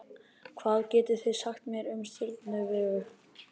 hvað getið þið sagt mér um stjörnuna vegu